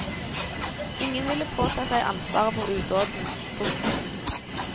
Ingen ville påta seg ansvaret for udåden. punktum